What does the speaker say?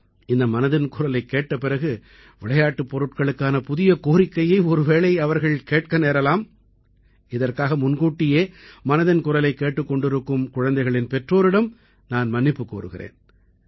இந்த மனதின் குரலைக் கேட்ட பிறகு விளையாட்டுப் பொருட்களுக்கான புதிய கோரிக்கையை ஒருவேளை அவர்கள் கேட்க நேரலாம் இதற்காக முன்கூட்டியே மனதின் குரலைக் கேட்டுக் கொண்டிருக்கும் குழந்தைகளின் பெற்றோரிடம் நான் மன்னிப்புக் கோருகிறேன்